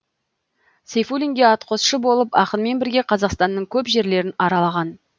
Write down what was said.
сейфуллинге атқосшы болып ақынмен бірге қазақстанның көп жерлерін аралаған